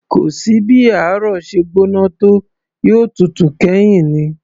Kò sí bí ààrò ṣe gbóná tó, yóò tutù kẹ́yìn ni